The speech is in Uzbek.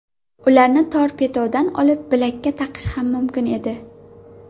Ularni torpedodan olib, bilakka taqish ham mumkin edi.